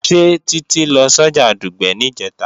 Ṣé Títí lọ sọ́jà Dùgbẹ̀ níjẹ̀ta?